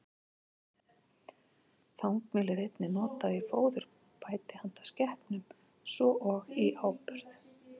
Þangmjöl er einnig notað í fóðurbæti handa skepnum, svo og í áburð.